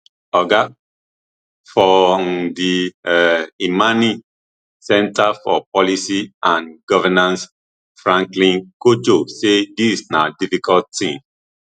oga for um di um imani center for policy and governance franklin cudjoe say dis na difficult tin